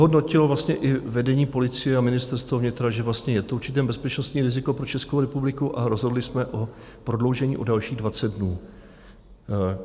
Vyhodnotilo i vedení policie a ministerstvo vnitra, že je to určité bezpečnostní riziko pro Českou republiku, a rozhodli jsme o prodloužení o dalších 20 dnů.